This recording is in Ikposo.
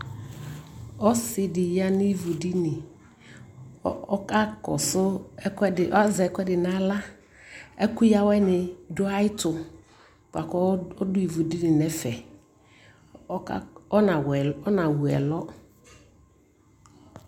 Ɔsι dι ya nu ivudiniƆka kɔsʋ ɛkʋɛdι, azɛ ɛkuɛdι nʋ alaƐkʋ ya awɛ nι dʋ ayʋ ɛtʋ, bʋakʋ ɔdʋ ivudini nʋ ɛfɛɔka ɔnawu ɔnawu ɛlʋ